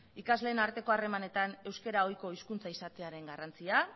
ikasleen arteko harremanetan euskera ohiko hizkuntza izatearen garrantzia